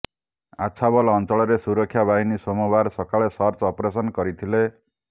ଆଛାବଲ ଅଞ୍ଚଳରେ ସୁରକ୍ଷା ବାହିନୀ ସୋମବାର ସକାଳେ ସର୍ଚ୍ଚ ଅପରେସନ କରିଥିଲେ